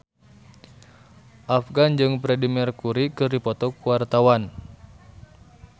Afgan jeung Freedie Mercury keur dipoto ku wartawan